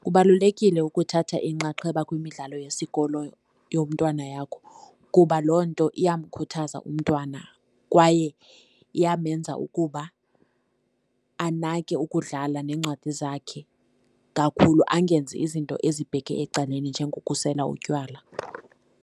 Kubalulekile ukuthatha inxaxheba kwimidlalo yesikolo yomntwana yakho kuba loo nto iyamkhuthaza umntwana kwaye iyamenza ukuba anake ukudlala neencwadi zakhe kakhulu, angenzi izinto ezibheke ecaleni njengokukusela utywala.